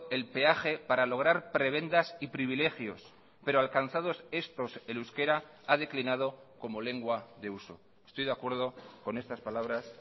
el peaje para lograr prebendas y privilegios pero alcanzados estos el euskera ha declinado como lengua de uso estoy de acuerdo con estas palabras